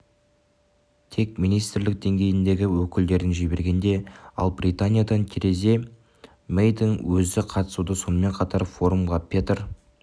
тек министрлік деңгейіндегі өкілдерін жіберген ал британиядан тереза мэйдің өзі қатысуда сонымен қатар форумға петр